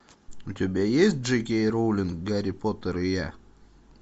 у тебя есть дж кей роулинг гарри поттер и я